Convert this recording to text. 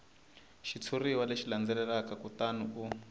xitshuriwa lexi landzelaka kutani u